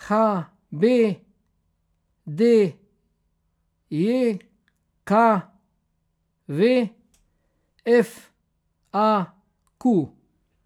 H B D J K V; F A Q.